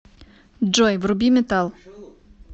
джой вруби метал